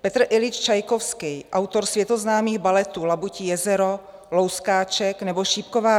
Petr Iljič Čajkovský, autor světoznámých baletů Labutí jezero, Louskáček nebo Šípková